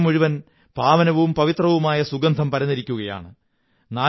അന്തരീക്ഷം മുഴുവൻ പാവനവും പവിത്രവുമായ സുഗന്ധം പരന്നിരിക്കയാണ്